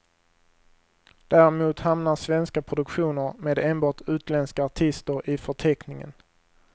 Däremot hamnar svenska produktioner med enbart utländska artister i förteckningen.